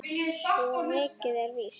Svo mikið er víst